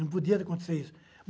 Não podia acontecer isso.